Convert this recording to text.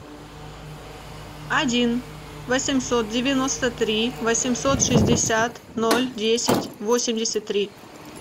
один восемьсот девяносто три восемьсот шестьдесят ноль десять восемьдесят три